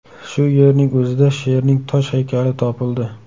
Shu yerning o‘zida sherning tosh haykali topildi.